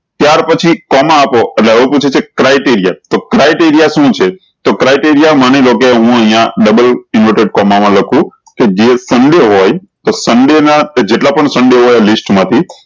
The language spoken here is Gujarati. ત્યાર પહચી કોમા આપો એટલે એવું પૂછે છે criteria તો criteria શું છે તો criteria માની લો હું અયીયા ડબલ inverted કોમા મા લખું કે જે ઠંડું હોય તો સન્ડે ના તે જેટલા પણ સંડે હોય list મા થી